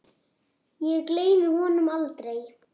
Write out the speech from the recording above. Ég gleymi honum aldrei.